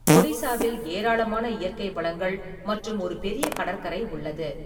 ஒடிசாவில் ஏராளமான இயற்கை வளங்கள் மற்றும் ஒரு பெரிய கடற்கரை உள்ளது.